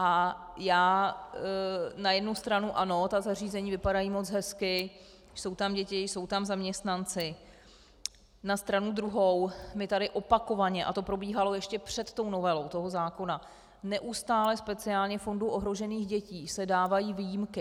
A já na jednu stranu ano, ta zařízení vypadají moc hezky, jsou tam děti, jsou tam zaměstnanci, na stranu druhou my tady opakovaně, a to probíhalo ještě před tou novelou toho zákona, neustále speciálně Fondu ohrožených dětí se dávají výjimky.